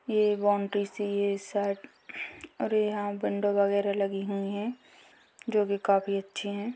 ये बॉउंड्री सी ये सट और यहाँ विंडो वगैरह लगी हुई है जो कि काफी अच्छी है।